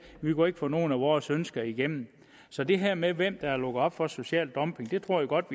og ikke få nogen af vores ønsker igennem så det her med hvem der har lukket op for social dumping tror jeg godt